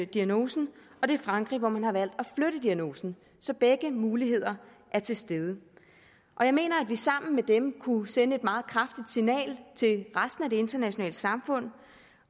diagnosen og det er frankrig hvor man har valgt at flytte diagnosen så begge muligheder er til stede jeg mener at vi sammen med dem kunne sende et meget kraftigt signal til resten af det internationale samfund